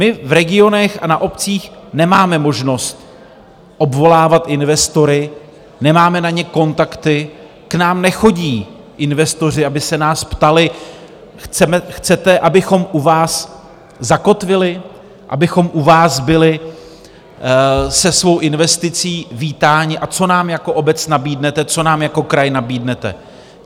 My v regionech a na obcích nemáme možnost obvolávat investory, nemáme na ně kontakty, k nám nechodí investoři, aby se nás ptali: Chcete, abychom u vás zakotvili, abychom u vás byli se svou investicí vítáni, a co nám jako obec nabídnete, co nám jako kraj nabídnete?